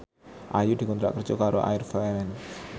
Ayu dikontrak kerja karo Air France